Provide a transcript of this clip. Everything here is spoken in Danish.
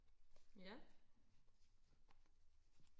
ja